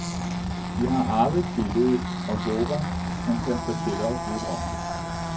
De har arvet billedet, og håber han kan fortælle os lidt om det.